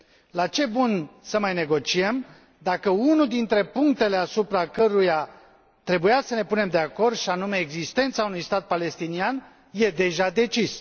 La ce bun să mai negociem, dacă unul dintre punctele asupra căruia trebuia să ne punem de acord, și anume existența unui stat palestinian, e deja decis?